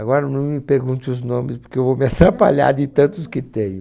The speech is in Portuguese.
Agora não me pergunte os nomes, porque eu vou me atrapalhar de tantos que tenho.